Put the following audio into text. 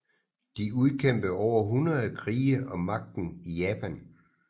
De udkæmpede over hundrede krige om magten i Japan